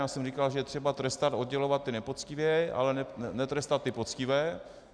Já jsem říkal, že je třeba trestat, oddělovat ty nepoctivé, ale netrestat ty poctivé.